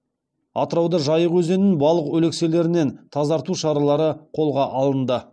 атырауда жайық өзенін балық өлекселерінен тазарту шаралары қолға алынды